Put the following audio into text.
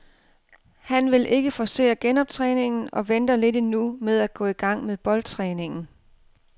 Han vil ikke forcere genoptræningen og venter lidt endnu med at gå i gang med boldtræningen.